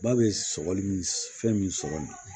Ba bɛ sɔgɔli fɛn min sɔri